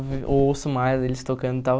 Eu ouço mais eles tocando e tal.